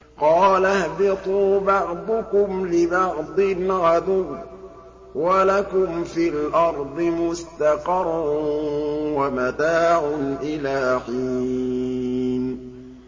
قَالَ اهْبِطُوا بَعْضُكُمْ لِبَعْضٍ عَدُوٌّ ۖ وَلَكُمْ فِي الْأَرْضِ مُسْتَقَرٌّ وَمَتَاعٌ إِلَىٰ حِينٍ